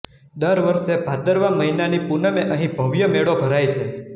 દર વર્ષે ભાદરવા મહિનાની પુનમે અહીં ભવ્ય મેળો ભરાય છે